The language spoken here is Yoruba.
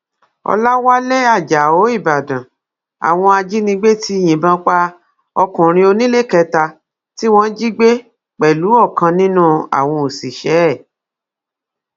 ọlàwálẹ ajáò ìbàdàn àwọn ajìnigbẹ ti yìnbọn pa ọkùnrin oníléekétà tí wọn jí gbé pẹlú ọkan nínú àwọn òṣìṣẹ ẹ